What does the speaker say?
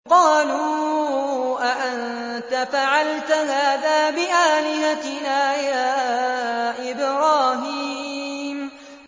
قَالُوا أَأَنتَ فَعَلْتَ هَٰذَا بِآلِهَتِنَا يَا إِبْرَاهِيمُ